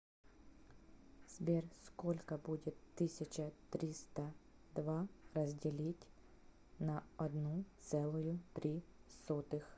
сбер сколько будет тысяча триста два разделить на одну целую три сотых